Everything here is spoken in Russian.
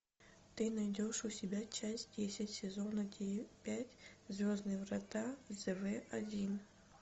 ты найдешь у себя часть десять сезона пять звездные врата зв один